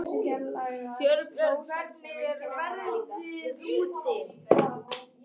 Torbjörg, hvernig er veðrið úti?